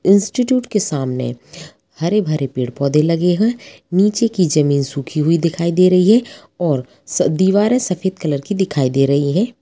Institute के सामने हरे-भरे पेड -पौधे लगे है नीचे की जमीन सुखी हुई दिखाई दे रही है और दीवारे सफेद कलर की दिखाई दे रही है।